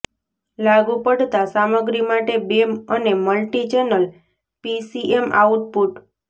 લાગુ પડતા સામગ્રી માટે બે અને મલ્ટીચેનલ પીસીએમ આઉટપુટ